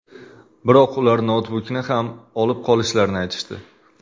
Biroq ular noutbukni ham olib qolishlarini aytishdi.